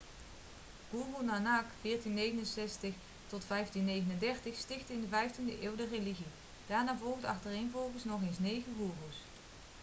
guru nanak 1469-1539 stichtte in de 15de eeuw de religie. daarna volgden achtereenvolgens nog eens negen goeroes